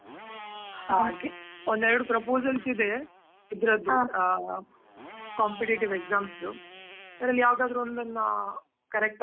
ಹಾಗೆ, ಒಂದ್ ಎರಡು proposals ಇದೆ, ಆ competitive exam ದು, ಅದ್ರಲ್ಲಿ ಯಾವದಾದ್ರು ಒಂದನ್ನಾ correct ಆಗ್.